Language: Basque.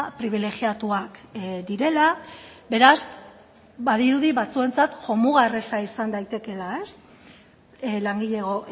pribilegiatuak direla beraz badirudi batzuentzat jomuga erreza izan daitekeela langilego